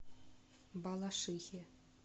балашихе